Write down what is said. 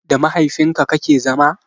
Da mahaifin ka kake zama?